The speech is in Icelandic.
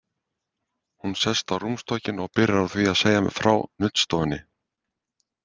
Hún sest á rúmstokkinn og byrjar á því að segja mér frá nuddstofunni.